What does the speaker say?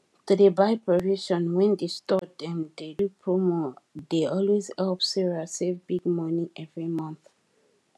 to dey buy provision wen di store dem dey do promo dey always help sarah save big money every month